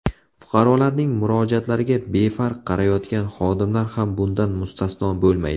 Fuqarolarning murojaatlariga befarq qarayotgan xodimlar ham bundan mustasno bo‘lmaydi.